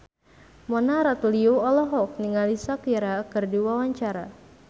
Mona Ratuliu olohok ningali Shakira keur diwawancara